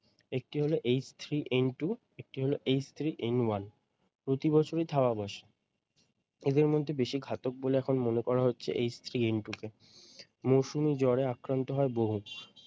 একটি হলো H three N two একটি হলো h-three n -one প্রতি বছরই থাবা বসায়। এদের মধ্যে বেশি ঘাতক বলে এখন মনে করা হচ্ছে H three N two কে মরশুমি জরে আক্রান্ত হয় বহু।